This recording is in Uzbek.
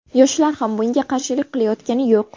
Yoshlar ham bunga qarshilik qilayotgani yo‘q.